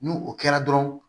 N'u o kɛra dɔrɔn